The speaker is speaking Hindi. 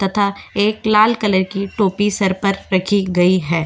तथा एक लाल कलर की टोपी सर पर रखी गई है।